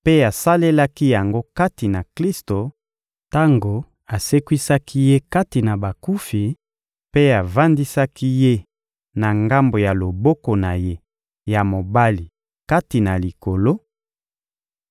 mpe asalelaki yango kati na Klisto tango asekwisaki Ye kati na bakufi mpe avandisaki Ye na ngambo ya loboko na Ye ya mobali kati na Likolo,